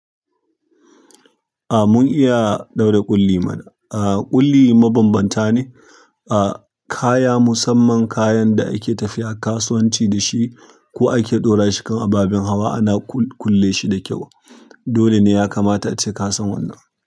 A mun iya ɗaura ƙulli mana. A ƙulli mabanbanta ne, a kaya, musamman kayan da ake tafiya kasuwanci dashi ko ake ɗora shi kan ababen hawa ana kulle shi da kyau. Dole ne ya kamata ace kasan wannan.